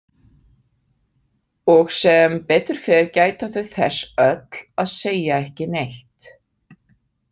Og sem betur fer gæta þau þess öll að segja ekki neitt.